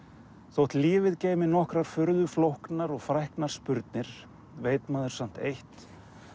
þótt lífið geymi nokkrar furðu flóknar og spurnir veit maður samt eitt